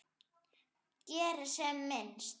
Geri sem minnst.